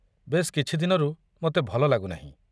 ବେଶ୍ କିଛି ଦିନରୁ ମୋତେ ଭଲ ଲାଗୁନାହିଁ।